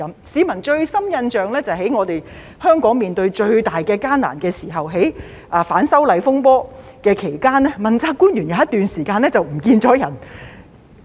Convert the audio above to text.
市民印象最深刻的是香港面對最大困難的時候，即在反修例風波期間，問責官員有一段時間不見蹤影。